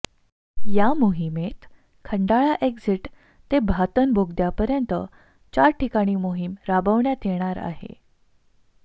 या मोहिमेत खंडाळा एक्झिट ते भातन बोगद्यापर्यंत चार ठिकाणी मोहीम राबविण्यात येणार आहे